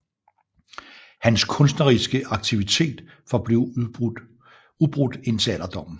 Hans kunstneriske aktivitet forblev ubrudt indtil alderdom